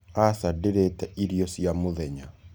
Aca ndĩrĩte irio cĩa mũthenya